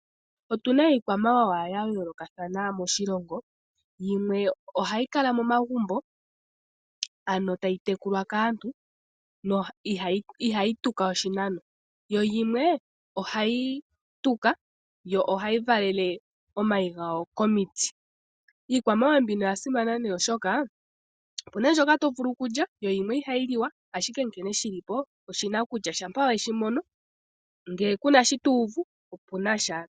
Otuna iikwamawawa yayoolokathana moshilongo yimwe ohayi kala momagumbo tayi tekulwa kaantu ihayi tuka oshinano. Yimwe ohayi tuka yo ohayi valele omayi gayo komiti, iikwamawawa mbino oyasimana osho oha yiliwa, opuna yimwe mbyoka ihayiliwa nAawambo oyi itaala kutya ngele oweshi mono ohashi vulika tomono oshinima oshiwinayi.